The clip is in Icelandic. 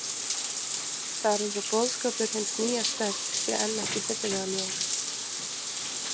Það er eins og boðskapur hins nýja stefs sé enn ekki fyllilega ljós.